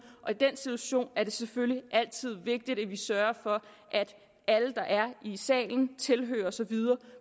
i den situation er det selvfølgelig altid vigtigt at vi sørger for at alle der er i salen tilhørere osv